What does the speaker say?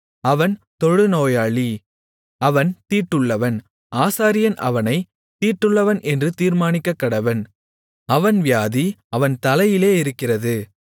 அவன் தொழுநோயாளி அவன் தீட்டுள்ளவன் ஆசாரியன் அவனைத் தீட்டுள்ளவன் என்று தீர்மானிக்கக்கடவன் அவன் வியாதி அவன் தலையிலே இருக்கிறது